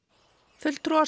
fulltrúar